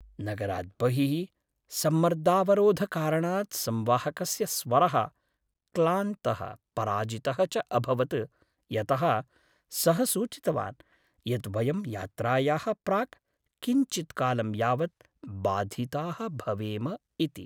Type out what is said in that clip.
नगरात् बहिः सम्मर्दावरोधकारणात् संवाहकस्य स्वरः क्लान्तः पराजितः च अभवत् यतः सः सूचितवान् यत् वयं यात्रायाः प्राक् किञ्चित्कालं यावत् बाधिताः भवेम इति।